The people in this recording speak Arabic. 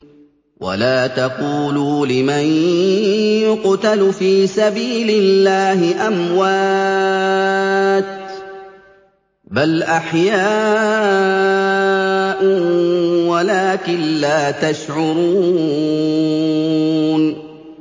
وَلَا تَقُولُوا لِمَن يُقْتَلُ فِي سَبِيلِ اللَّهِ أَمْوَاتٌ ۚ بَلْ أَحْيَاءٌ وَلَٰكِن لَّا تَشْعُرُونَ